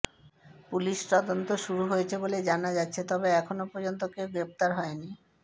পুলিশি তদন্ত শুরু হয়েছে বলে জানা যাচ্ছে তবে এখনও পর্যন্ত কেউ গ্রেফতার হয়নি